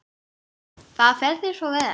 Það fer þér svo vel.